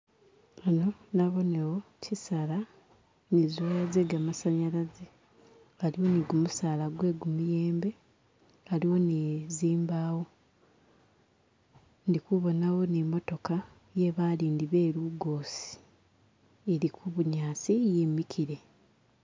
Hano nabonewo chisaala ni zi waya ze ga masanyalaze haliwo ni gumusaala gwe gumuyembe haliwo ni zimbawo ndikubonawo ni motooka yebalindi be lugosi ili kubunyasi yimikile.